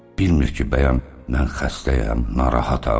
Bilmir ki, bəyəm mən xəstəyəm, narahatam?